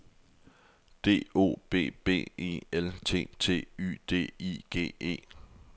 D O B B E L T T Y D I G E